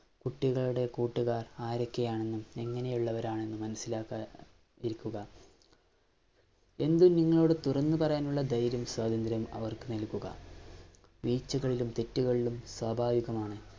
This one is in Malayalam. കുട്ടികളുടെ കൂട്ടുകാര്‍ ആരോക്കെയാണെന്നും, എങ്ങനെയുള്ളവരാണെന്നും മനസ്സിലാക്കി ഇരിക്കുക. എന്തും നിങ്ങളോട് തുറന്നു പറയാനുള്ള ധൈര്യവും, സ്വാതന്ത്ര്യവും അവര്‍ക്കു നല്‍കുക. വീഴ്ചകളിലും, തെറ്റുകളിലും സ്വാഭാവികമാണ്.